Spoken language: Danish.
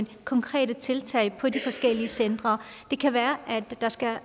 på konkrete tiltag på de forskellige centre det kan være der skal